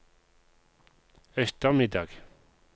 ettermiddag